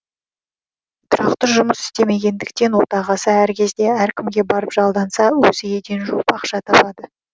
тұрақты жұмыс істемегендіктен отағасы әр кезде әркімге барып жалданса өзі еден жуып ақша табады